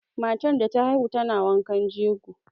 Matar da ta haihu tana wankan jego.